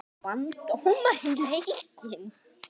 Vann dómarinn leikinn?